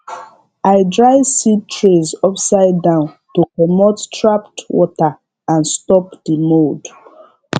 i dry seed trays upside down to comot trapped water and stop the mould